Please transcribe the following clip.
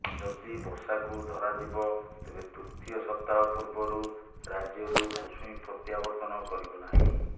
ଯଦି ବର୍ଷାକୁ ଧରାଯିବ ତେବେ ତୃତୀୟ ସପ୍ତାହ ପୂର୍ବରୁ ରାଜ୍ୟରୁ ମୌସୁମୀ ପ୍ରତ୍ୟାବର୍ତନ କରିବ ନାହିଁ